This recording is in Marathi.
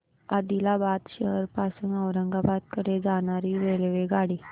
आदिलाबाद शहर पासून औरंगाबाद कडे जाणारी रेल्वेगाडी